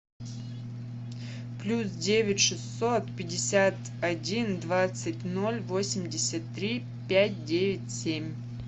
плюс девять шестьсот пятьдесят один двадцать ноль восемьдесят три пять девять семь